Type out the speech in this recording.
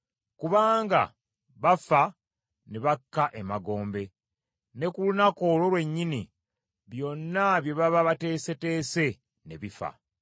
Kubanga bafa ne bakka emagombe; ne ku lunaku olwo lwennyini, byonna bye baba bateeseteese ne bifa.